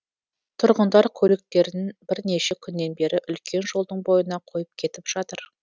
тұрғындар көліктерін бірнеше күннен бері үлкен жолдың бойына қойып кетіп жатыр